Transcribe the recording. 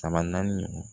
Saba naani